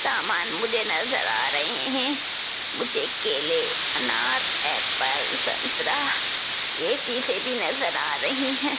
सामान मुझे नजर आ रहे मुझे केले अनार एप्पल संतरा ये चीजे भी नजर आ रही हैं।